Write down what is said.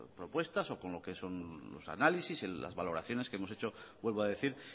propuestas o con lo que son los análisis las valoraciones que hemos hecho vuelvo a decir